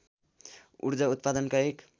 ऊर्जा उत्पादनका एक